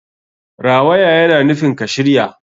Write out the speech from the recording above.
Rawaya yana nufin ka shirya.